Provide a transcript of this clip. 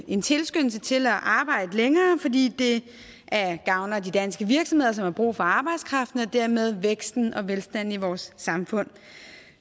en tilskyndelse til at arbejde længere fordi det gavner de danske virksomheder som har brug for arbejdskraften og dermed væksten og velstanden i vores samfund